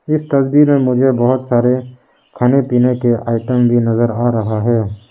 इस तस्वीर में मुझे बहुत सारे खाने पीने के आइटम भी नजर आ रहा है।